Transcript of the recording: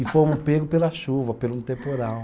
E fomos pegos pela chuva, pelo um temporal.